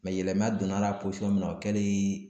Mɛ yɛlɛma donn'a la posɔn min na o kɛlii